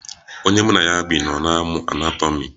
Onye mụ na ya bi nọ na-amụ anatomi